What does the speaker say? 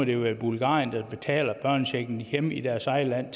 det være bulgarien der betaler børnechecken hjemme i deres eget land